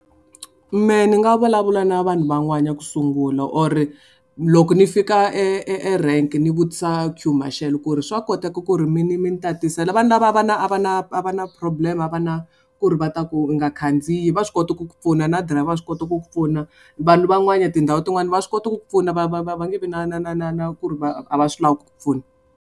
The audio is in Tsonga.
Mehe ni nga vulavula na vanhu van'wana ya ku sungula or loko ni fika e e erank ni vutisa queue marshal ku ri swa koteka ku ri mi ni mi ni tatisela vanhu lava a va na a va na a va na na problem a va na ku ri va ta ku nga khandziyi va swi kota ku ku pfuna na dirayivha wa swi kota ku ku pfuna vanhu van'wana tindhawu tin'wani va swi kota ku ku pfuna va va va va nge vi na na na na na ku ri va a va swi lavi ku ku pfuna.